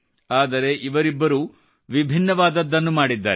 ಆದರೆ ಇವರಿಬ್ಬರು ವಿಭಿನ್ನವಾದದ್ದನ್ನು ಮಾಡಿದ್ದಾರೆ